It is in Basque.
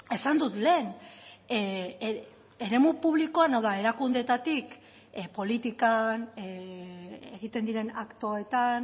esan dut lehen eremu publikoan hau da erakundeetatik politikan egiten diren aktoetan